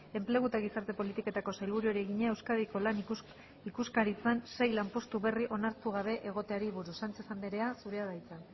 enplegu eta gizarte politiketako sailburuari egina euskadiko lan ikuskaritzan sei lanpostu berri onartu gabe egoteari buruz sánchez andrea zurea da hitza